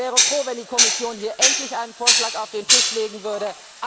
Ich wäre froh, wenn die Kommission hier endlich einen Vorschlag auf den Tisch legen würde.